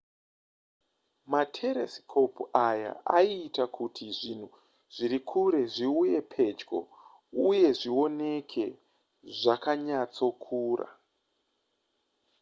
materesikopu aya aiita kuti zvinhu zviri kure zviuye pedyo uye zvioneke zvakanyatsokura